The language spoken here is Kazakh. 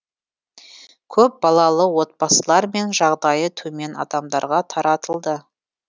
көпбалалы отбасылар мен жағдайы төмен адамдарға таратылды